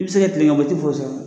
I bi se ka kilen ka boli i ti mɔgɔ sa